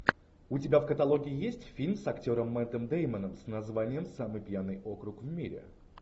у тебя в каталоге есть фильм с актером мэттом деймоном с названием самый пьяный округ в мире